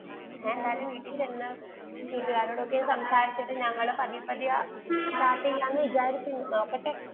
ഞാൻ എന്തായാലും വീട്ടിൽ ചെന്ന വീട്ടുകാരൊടൊക്കെ സംസാരിച്ചിട്ട് ഞങ്ങളും പതിയെ പതിയെ start ചെയ്യാ എന്നു വിചാരിക്കുന്നു, നോക്കട്ടെ.